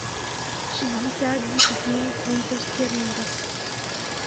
шестьдесят десяти фунтов стерлингов